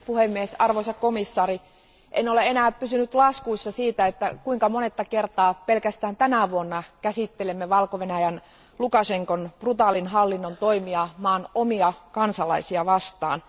Arvoisa puhemies, arvoisa komission jäsen, en ole enää pysynyt laskuissa siitä, kuinka monetta kertaa pelkästään tänä vuonna käsittelemme Valko Venäjän Lukašenkan brutaalin hallinnon toimia maan omia kansalaisia vastaan.